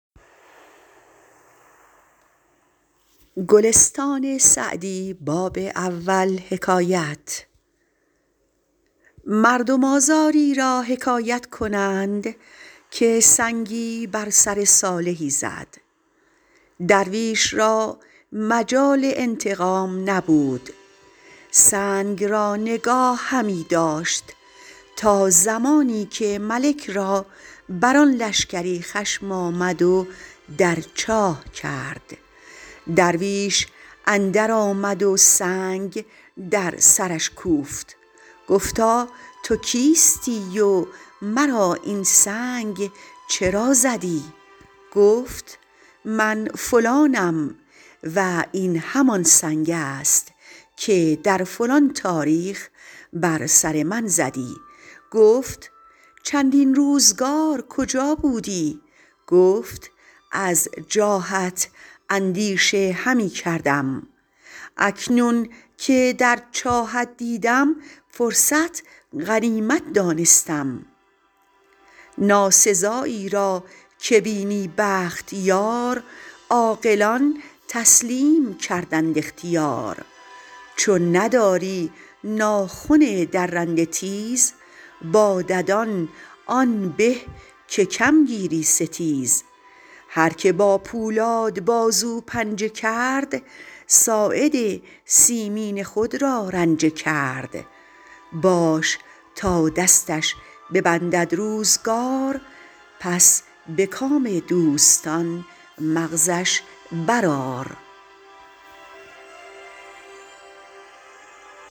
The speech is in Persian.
مردم آزاری را حکایت کنند که سنگی بر سر صالحی زد درویش را مجال انتقام نبود سنگ را نگاه همی داشت تا زمانی که ملک را بر آن لشکری خشم آمد و در چاه کرد درویش اندر آمد و سنگ در سرش کوفت گفتا تو کیستی و مرا این سنگ چرا زدی گفت من فلانم و این همان سنگ است که در فلان تاریخ بر سر من زدی گفت چندین روزگار کجا بودی گفت از جاهت اندیشه همی کردم اکنون که در چاهت دیدم فرصت غنیمت دانستم ناسزایی را که بینی بخت یار عاقلان تسلیم کردند اختیار چون نداری ناخن درنده تیز با ددان آن به که کم گیری ستیز هر که با پولاد بازو پنجه کرد ساعد مسکین خود را رنجه کرد باش تا دستش ببندد روزگار پس به کام دوستان مغزش بر آر